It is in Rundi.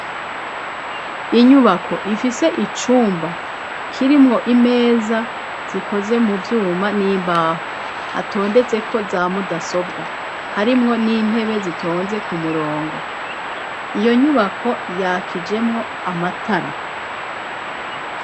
Inyubako ifise icumba kirimwo imeza zikoze mu vyuma n'imbaho, hatondetseko zamudasobwa, harimwo n'intebe zitonze ku murongo, iyo nyubako yakijemwo amatara.